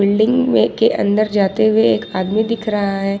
Building में के अंदर जाते हुए एक आदमी दिख रहा है।